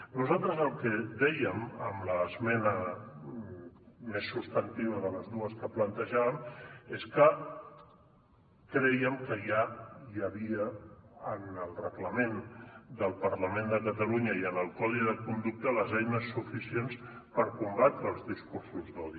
nosaltres el que dèiem amb l’esmena més substantiva de les dues que plantejàvem és que crèiem que hi havia en el reglament del parlament de catalunya i en el codi de conducta les eines suficients per combatre els discursos d’odi